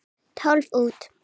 Tólf út.